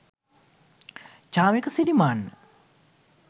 chamika sirimanna